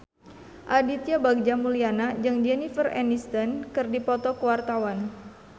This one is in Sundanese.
Aditya Bagja Mulyana jeung Jennifer Aniston keur dipoto ku wartawan